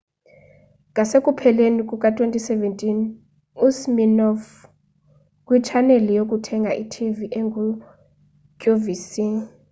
ngasekupheleni kuka-2017 usiminoff kwitshaneli yokuthenga kwitv enguqvc